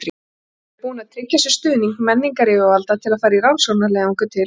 Hann hefði verið búinn að tryggja sér stuðning menningaryfirvalda til að fara í rannsóknarleiðangur til